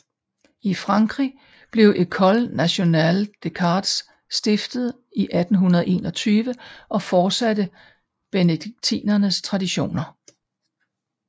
I Frankrig blev École nationale des chartes stiftet i 1821 og fortsatte benediktinernes traditioner